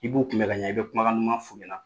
I b'u kun bɛ ka ɲɛ, i bɛ kumakan duman f'u ɲɛna